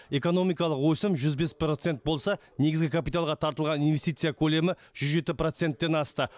экономикалық өсім жүз бес процент болса негізгі капиталға тартылған инвестиция көлемі жүз жеті проценттен асты